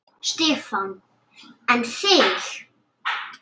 Stefán: En þig?